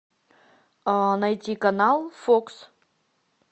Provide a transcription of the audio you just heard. найти канал фокс